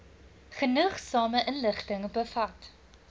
genoegsame inligting bevat